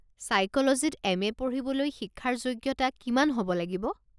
ছাইক'লজীত M A. পঢ়িবলৈ শিক্ষাৰ যোগ্যতা কিমান হ'ব লাগিব?